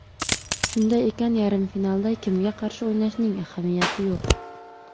Shunday ekan, yarim finalda kimga qarshi o‘ynashning ahamiyati yo‘q.